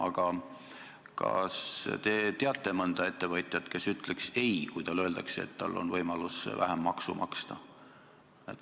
Aga kas te teate mõnda ettevõtjat, kes ütleks ei, kui talle öeldakse, et tal on võimalus vähem maksu maksta?